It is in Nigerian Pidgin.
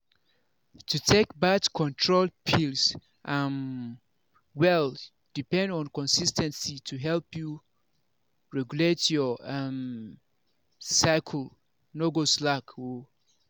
to take birth control pills um well depend on consis ten cy to fit help you regulate your um cycle no go slack o.